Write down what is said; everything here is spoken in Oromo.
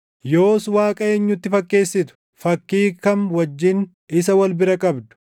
Yoos Waaqa eenyutti fakkeessitu? Fakkii kam wajjin isa wal bira qabdu?